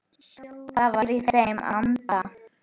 Það var í þeirra anda.